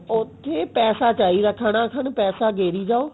ਉੱਥੇ ਪੈਸਾ ਚਾਹਿਦਾ ਥਣਾ ਥੰਨ ਪੈਸਾ ਗੇਰੀ ਜਾਓ